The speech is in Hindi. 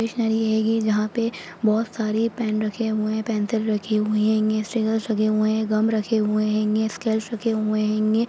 स्टेशनरी है ये जहाँ पे बहुत सारे पेन रखे हुए हैं पेंसिल रखी हुई हेंगी स्टीकर्स लगे हुए हैं गम लगे हुए हैंगे स्केल्स रखे हुए हैंगे।